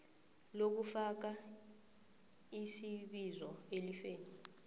lokufaka isibizo elifeni